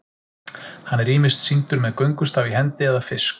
Hann er ýmist sýndur með göngustaf í hendi eða fisk.